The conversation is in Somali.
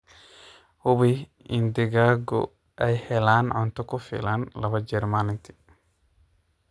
Hubi in digaagu ay helaan cunto ku filan laba jeer maalintii.